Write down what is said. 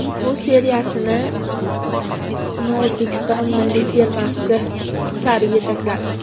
Bu seriyasini uni O‘zbekiston milliy termasi sari yetakladi.